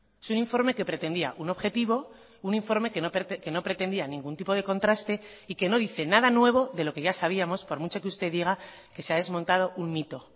es un informe que pretendía un objetivo un informe que no pretendía ningún tipo de contraste y que no dice nada nuevo de lo que ya sabíamos por mucho que usted diga que se ha desmontado un mito